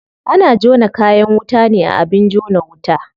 Ana jona kayan wuta ne a abin jona wuta.